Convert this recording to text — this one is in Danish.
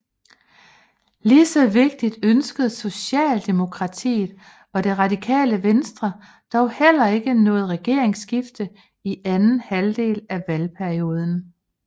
Ligeså vigtigt ønskede Socialdemokratiet og Det radikale Venstre dog heller ikke noget regeringsskifte i anden halvdel af valgperioden